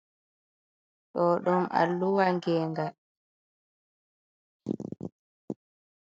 Ɗo ɗum alluwa gengal.